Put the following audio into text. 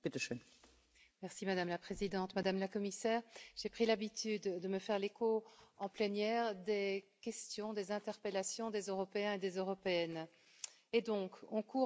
Madame la Présidente, Madame la Commissaire, j'ai pris l'habitude de me faire l'écho, en plénière, des questions, des interpellations des Européens et des Européennes Nous courons à la catastrophe.